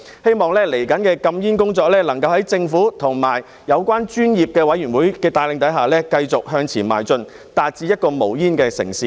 希望未來的禁煙工作能夠在政府和有關專業委員會的帶領下，繼續向前邁進，達致一個無煙的城市。